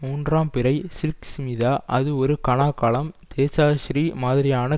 மூன்றாம் பிறை சில்க் ஸ்மிதா அது ஒரு கனாக்காலம் தேஜாஸ்ரீ மாதிரியான